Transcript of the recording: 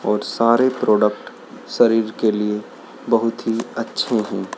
और सारे प्रोडक्ट शरीर के लिए बहुत ही अच्छे हैं।